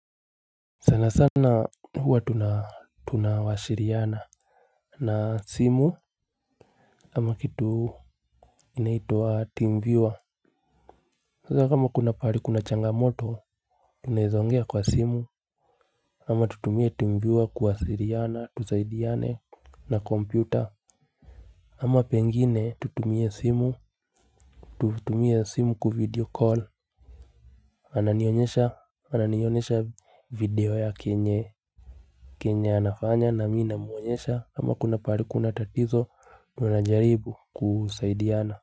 Sana sana huwa tunawasiliana na simu ama kitu inaitwa teamviewer. Sasa kama kuna pahali kuna changamoto tunaeza ongea kwa simu ama tutumie teamviewer kuwasiliana tusaidiane na kompyuta. Ama pengine tutumie simu tutumie simu kuvideocall ananionyesha ananionyesha video yake yenye. Kenya anafanya na mi namuonyesha kama kuna pahali kuna tatizo tunajaribu kusaidiana.